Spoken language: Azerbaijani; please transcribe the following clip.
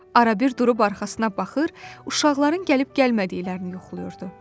Arabir durub arxasına baxır, uşaqların gəlib-gəlmədiklərini yoxlayırdı.